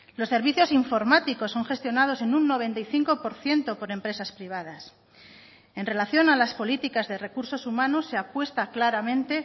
los servicios informáticos son gestionados en un noventa y cinco por ciento por empresas privadas en relación a las políticas de recursos humanos se apuesta claramente